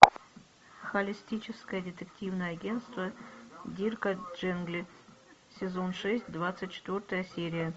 холистическое детективное агентство дирка джентли сезон шесть двадцать четвертая серия